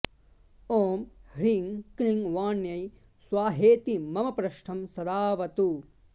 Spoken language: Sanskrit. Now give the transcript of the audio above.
ओं ह्रीं क्लीं वाण्यै स्वाहेति मम प्र्ष्ठं सदाऽवतु